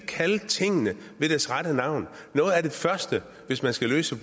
kalde tingene ved deres rette navn noget af det første hvis man skal løse